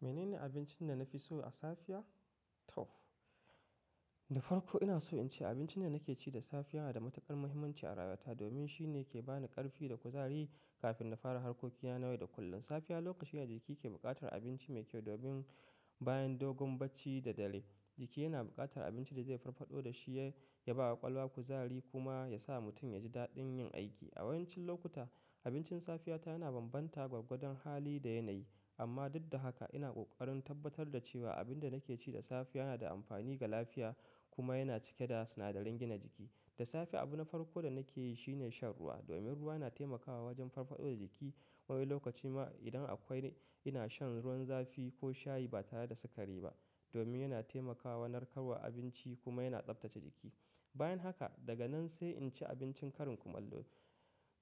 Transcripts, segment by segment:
Mene ne abincin da na fi so a safiya? To, da farko ina so in ce abincin da nake ci da safiya yana da matukar muhimmanci a rayuwata domin shine ke ba ni ƙarfi da kuzari kafin na fara harkokina na yau da kullum. Safiya lokaci ne da jiki ke buƙatar abinci mai kyau domin bayan dogon bacci da dare jiki yana buƙatar abinci da zai farfado da shi ya ba wa ƙwaƙwalwa kuzari kuma ya sa mutum ya ji daɗin yin aiki. A yawancin lokuta abincin safiyata yana bambanta gwargwadon hali da yanayi. Amma duk da haka ina ƙoƙarin tabbatar da cewa abin da nake ci da safiya yana da amfani ga lafiya kuma yana cike da sinadaran gina jiki. Da safe abun na farko da nake yi shine shan ruwa domin ruwa na taimakawa wajen farfado da jiki. Wani lokaci ma idan akwai ina shan ruwan zafi ko shayi ba tare da sikari ba domin yana taimakawa narkarwa abinci kuma yana tsaftace jiki. Bayan haka daga nan sai in ci abincin ƙarin kumallo.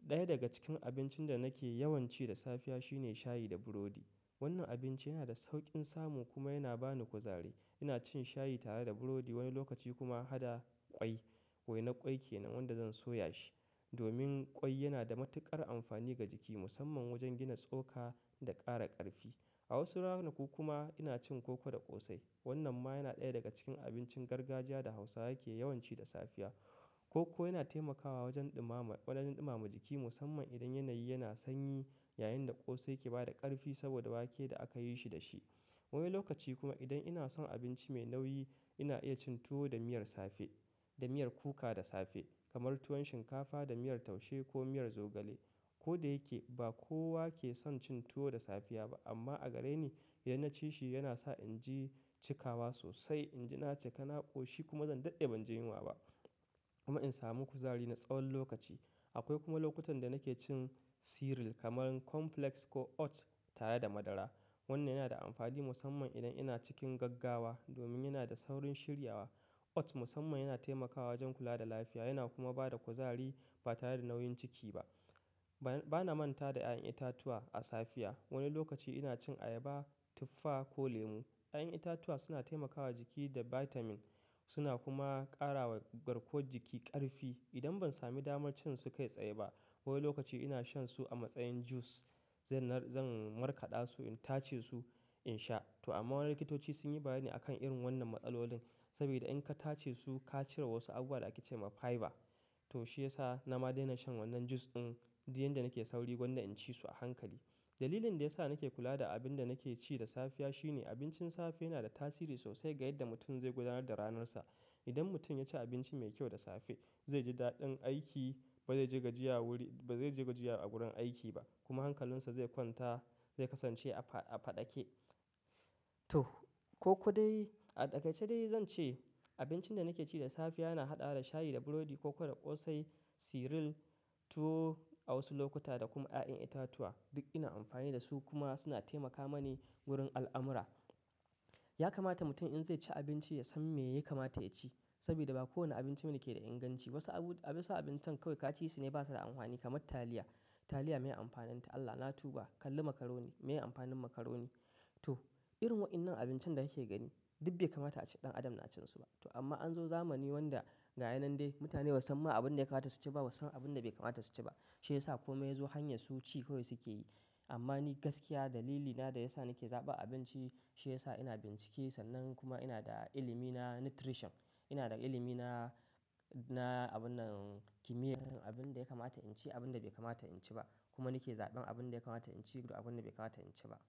Ɗaya daga cikin abincin da nake yawan ci da safiya shine shayi da burodi. Wannan abinci yana da sauƙin samu kuma yana ba ni kuzari. Ina cin shayi tare da burodi wani lokaci kuma hada ƙwai. Wainar ƙwai ke nan wanda zan soya shi domin ƙwai yana da matuƙar amfani ga jiki musamman wajen gina tsoka da ƙara ƙarfi. A wasu ranaku kuma ina cin koko da ƙosai. Wannan ma yana ɗaya daga cikin abincin gargajiya da Hausawa ke yawan ci da safiya. Koko yana taimakawa wajen ɗumama ƙwalanin ɗumama jiki musamman idan yanayi yana sanyi yayin da ƙosai ke ba da ƙarfi saboda wake da aka yi shi da shi. Wani lokaci kuma idan ina son abinci mai nauyi ina iya cin tuwo da miyar safe-- da miyar kuka da safe kamar tuwon shinkafa da miyar taushe ko miyar zogale. Ko da yake ba kowa ke son cin tuwo da safiya ba amma a gare ni idan na ci shi yana sa in ji cikawa sosai. In ji na cika na ƙoshi kuma zan daɗe ban je yunwa ba kuma in samu kuzari na tsawon lokaci. Akwai kuma lokutan da nake cin cereal kamar complex ko oats tare da madara. Wannan yana da amfani musamman idan ina cikin gaggawa domin yana da saurin shiryawa. Oats musamman yana taimakawa wajen kula da lafiya yana kuma ba da kuzari ba tare da nauyin ciki ba. Ba na manta da ƴaƴan itatuwa a safiya. Wani lokaci ina cin ayaba, tuffa ko lemu. Ƴaƴan itatuwa suna taimakawa jiki da vitamin suna kuma ƙara wa garkuwar jiki ƙarfi. Idan ban sami damar cin su kai tsaye ba wani lokaci ina shan su a matsayin jus. Zan nar-- zan markaɗa su in tace su in sha. To amma wasu likitoci sun yi bayani akan irin wannan matsalolin saboda in ka tace su ka cire wasu abubuwa da ake ce ma fiber. To shi ya sa na ma daina shan wannan jus ɗin jiya inda nake sauri gwanda in ci su a hankali. Dalilin da ya sa nake kula da abin da nake ci da safiya shine abincin safe yana da tasiri sosai ga yadda mutum zai gudanar da ranarsa. Idan mutum ya ci abinci mai kyau da safe zai ji daɗin aiki, ba zai ji gajiya wuri-- ba zai ji gajiya a gurin aiki ba kuma hankalinsa zai kwanta, zai kasance a faɗaƙe. To, koko dai a takaitace dai zan ce abincin da nake ci da safiya yana haɗa da shayi da burodi, koko da ƙosai, cereal tuwo a wasu lokuta da kuma ƴaƴan itatuwa. Duk ina amfani da su kuma suna taimaka mani wurin al'amura. Ya kamata mutum in zai ci abinci ya san me yake kamata yaci saboda ba kowane abinci bane yake da inganci. Wasu abu-- abincin kawai ka ci sune ba su da amfani kamar taliya. Taliya miye amfaninta? Allah na tuba. Kalli macaroni miye amfanin macaroni? To, irin waɗannan abincin da kake gani duk bai kamata a ce ɗan adam na cin su ba. To amma an zo zamani wanda ga yanan dai mutane ba su san abin da ya kamata su ci ba, ba su san abin da bai kamata su ci ba. Shi ya sa komai ya zo hanyar su ci kawai suke yi. Amma ni gaskiya dalilina da ya sa nake zaɓan abinci shi ya sa ina bincike sannan kuma ina da ilimi na "nutrition". Ina da ilimi na, na abun nan kimiyyar abin da ya kamata in ci abin da bai kamata in ci ba. Kuma nake zaɓan abin da ya kamata in ci da abin da bai kamata in ci ba.